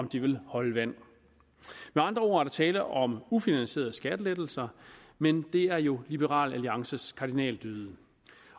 det vil holde vand med andre ord er der tale om ufinansierede skattelettelser men det er jo liberal alliances kardinaldyd